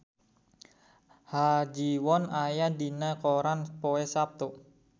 Ha Ji Won aya dina koran poe Saptu